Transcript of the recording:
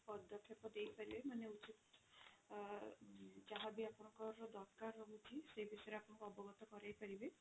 ପଦକ୍ଷପ ଦେଇ ପାରିବେ ମାନେ ଉତିତ ମାନେ ଯାହା ବି ଆପଣଙ୍କର ଦରକାର ରହୁଛି ସେ ବିଷୟରେ ଆପଣଙ୍କୁ ଅବଗତ କରାଇ ପାରିବେ